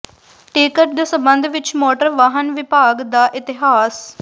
ticket ਦੇ ਸਬੰਧ ਵਿੱਚ ਮੋਟਰ ਵਾਹਨ ਵਿਭਾਗ ਦਾ ਇਤਿਹਾਸ